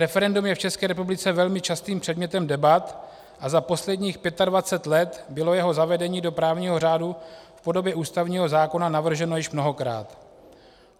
Referendum je v České republice velmi častým předmětem debat a za posledních 25 let bylo jeho zavedení do právního řádu v podobě ústavního zákona navrženo již mnohokrát.